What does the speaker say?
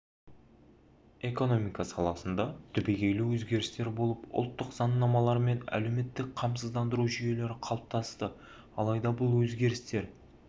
экономика саласында түбегейлі өзгерістер болып ұлттық заңнамалары мен әлеуметтік қамсыздандыру жүйелері қалыптасты алайда бұл өзгерістер